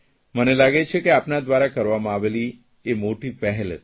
મને લાગે છે કે આપના દ્વારા કરવામાં આવેલી મોટી પહેલી હતી